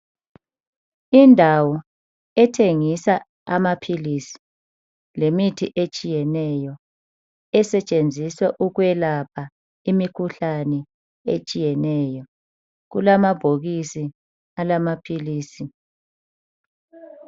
Indawo ethengisa amaphilisi, lemithi etshiyeneyo, esetshenziswa ukwelapha imikhuhlane etshiyeneyo. Kulamabhokisi alamaphilisi.